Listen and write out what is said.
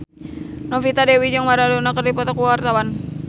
Novita Dewi jeung Maradona keur dipoto ku wartawan